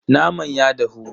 Naman ya dahu.